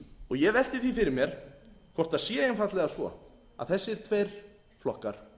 ég velti því fyrir mér hvort það sé einfaldlega svo að þessir tveir flokkar